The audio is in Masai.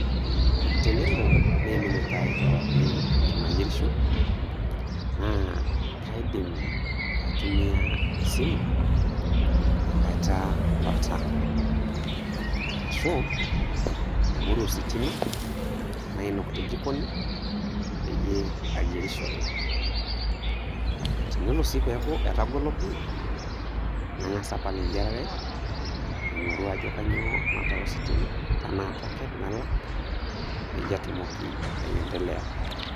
Tenelo neimin iltaai kewarie eton ayierisho, naa kaidim aitumia esimu aitaa oltaa, arashu aing'oru ositima nainok tejikoni, peyie ayierishore. Tenelo sii peeku etagolo pii, nang'as apal eyierare aing'orua ajo kainyoo natara ositima, tanaa tokens, nalak peyie atumoki aendelea.